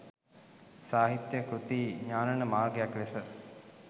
සාහිත්‍යය කෘති ඥානන මාර්ගයක් ලෙස